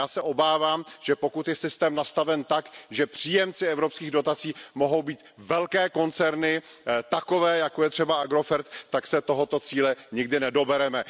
Já se obávám, že pokud je systém nastaven tak, že příjemcem evropských dotací mohou být velké koncerny, takové, jako je třeba Agrofert, tak se tohoto cíle nikdy nedobereme.